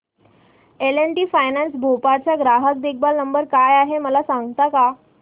L and T finance Bhopal चा ग्राहक देखभाल नंबर काय आहे मला सांगता का